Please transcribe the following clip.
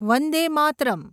Vande Mataram